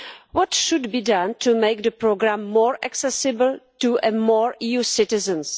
What should be done to make the programme more accessible to more EU citizens?